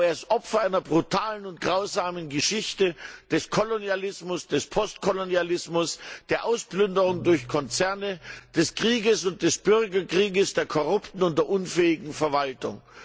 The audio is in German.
Aber er ist Opfer einer brutalen und grausamen Geschichte des Kolonialismus, des Postkolonialismus, der Ausplünderung durch Konzerne, des Kriegs und des Bürgerkriegs, der korrupten und unfähigen Verwaltung.